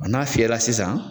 n'a fiyɛla sisan